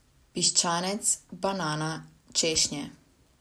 Piščanec, banana, češnje.